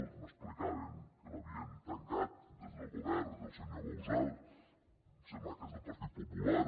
m’explicaven que l’havien tancat des del govern del senyor bauzá em sembla que és del partit popular